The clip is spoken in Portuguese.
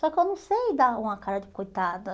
Só que eu não sei dar uma cara de coitada.